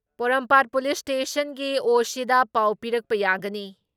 ꯄꯣꯔꯣꯝꯄꯥꯠ police ꯏꯁꯇꯦꯁꯟꯒꯤ ꯑꯣ.ꯁꯤꯗ ꯄꯥꯎ ꯄꯤꯔꯛꯄ ꯌꯥꯒꯅꯤ ꯫